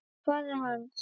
Og faðir hans?